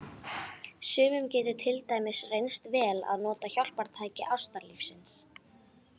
Sumum getur til dæmis reynst vel að nota hjálpartæki ástarlífsins.